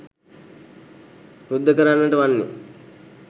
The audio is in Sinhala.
යුද්ද කරන්නට වන්නේ